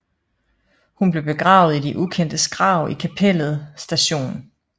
Hun blev begravet i de ukendtes grav i kapellet St